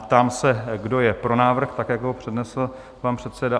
Ptám se, kdo je pro návrh tak, jak ho přednesl pan předseda?